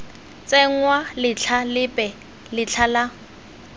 tsenngwa letlha lepe letlha la